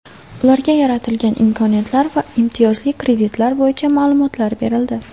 Ularga yaratilgan imkoniyatlar va imtiyozli kreditlar bo‘yicha ma’lumotlar berildi.